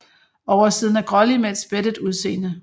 Oversiden er grålig med et spættet udseende